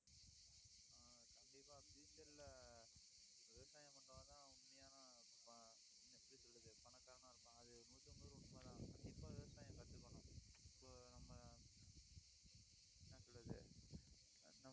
ஆஹ் கண்டிப்பா future ல விவசாயம் பண்றவங்கதான் உண்மையான ப~ எப்படி சொல்றது பணக்காரனா இருப்பான். அது நூத்துத்துக்கு நூறு உண்மைதான். கண்டிப்பா விவசாயம் கத்துக்கணும். இப்போ நம்ம என்ன சொல்றது